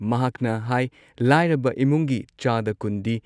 ꯃꯍꯥꯛꯅ ꯍꯥꯏ ꯂꯥꯏꯔꯕ ꯏꯃꯨꯡꯒꯤ ꯆꯥꯗ ꯲꯰ ꯗꯤ